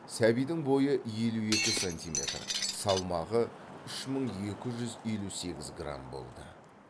сәбидің бойы елу екі сантиметр салмағы үш мын екі жүз елу сегіз грамм болды